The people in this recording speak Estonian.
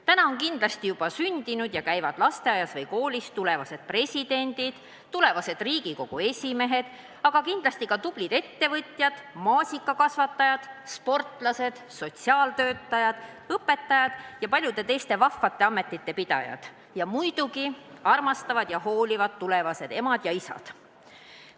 Täna on kindlasti juba sündinud ja käivad lasteaias või koolis tulevased presidendid, tulevased Riigikogu esimehed, aga ka tublid ettevõtjad, maasikakasvatajad, sportlased, sotsiaaltöötajad, õpetajad ja paljude teiste vahvate ametite pidajad ning muidugi armastavad ja hoolivad tulevased emad ja isad.